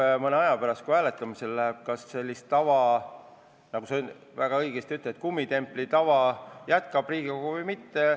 Eks mõne aja pärast, kui hääletama hakatakse, selgub, kas see tava – nagu sa väga õigesti ütled, see kummitempli tava – Riigikogus jätkub või mitte.